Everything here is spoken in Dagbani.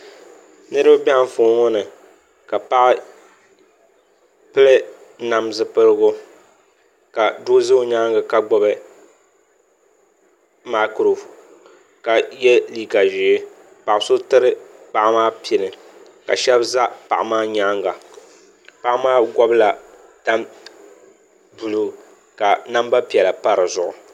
Niraba bɛ Anfooni ŋo ni ka paɣa pili nam zipiligu ka doo ʒɛ o nyaangi ka gbubi maikiro ka yɛ liiga ʒiɛ paɣa so tiri paɣa maa pini ka shab ʒɛ paɣa maa nyaanga paɣa maa gobila tani buluu ka namba piɛla pa dizuɣu